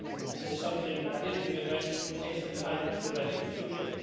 This is something that is being addressed, but will take some time to address in the future.